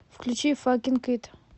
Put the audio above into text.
включи факинг ит